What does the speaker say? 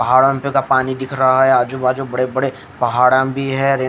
पहाड़अन का पानी दिख रहा है आजु बाजु बड़े पहाड़अन भी है रेती--